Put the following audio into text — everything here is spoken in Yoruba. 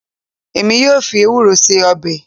Èmi yóò fi ewúro ṣe ọbẹ̀